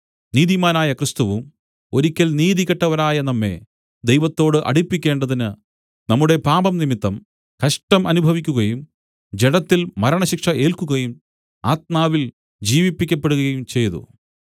നീതിമാനായ ക്രിസ്തുവും ഒരിക്കൽ നീതികെട്ടവരായ നമ്മെ ദൈവത്തോട് അടുപ്പിക്കേണ്ടതിന് നമ്മുടെ പാപംനിമിത്തം കഷ്ടം അനുഭവിക്കുകയും ജഡത്തിൽ മരണശിക്ഷ ഏൽക്കുകയും ആത്മാവിൽ ജീവിപ്പിക്കപ്പെടുകയും ചെയ്തു